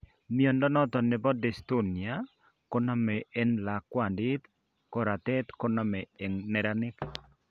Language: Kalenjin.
Mnyondo noton nebo dystonia koname en lakwandit; koratet koname en neranik